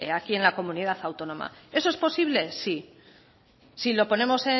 aquí en la comunidad autónoma eso es posible sí si lo ponemos